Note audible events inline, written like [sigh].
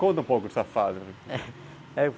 Conta um pouco dessa fase [laughs]